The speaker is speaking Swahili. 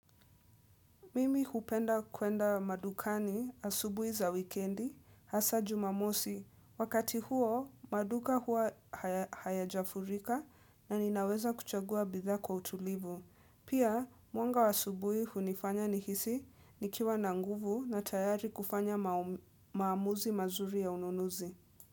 Mimi hupenda kwenda madukani asubuhi za wikendi, hasa jumamosi. Wakati huo, maduka hua haya jafurika na ninaweza kuchagua bitha kwa utulivu. Pia, mwanga wa asubuhi hunifanya nihisi nikiwa nanguvu na tayari kufanya maamuzi mazuri ya ununuzi.